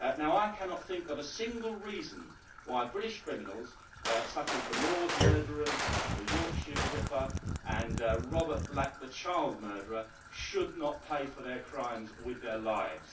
I cannot think of a single reason why British criminals, such as the Moors murderers, the Yorkshire Ripper and Robert Black, the child murderer, should not pay for their crimes with their lives.